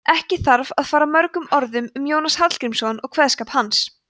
ekki þarf að fara mörgum orðum um jónas hallgrímsson og kveðskap hans